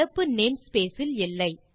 நடப்பு name space இல் இல்லை